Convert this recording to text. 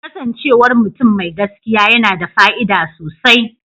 Kasancewar mutum mai gaskiya yana da fa'ida sosai.